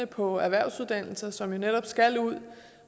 på erhvervsuddannelser som jo netop skal ud